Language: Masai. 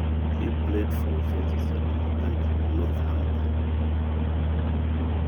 Eiguranaka oshi Swansea City o Northamptom.